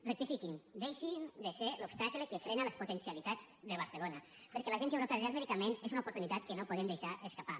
rectifiquin deixin de ser l’obstacle que frena les potencialitats de barcelona perquè l’agència europea del medicament és una oportunitat que no podem deixar escapar